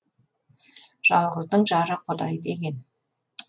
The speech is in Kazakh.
жалғыздың жары құдай деген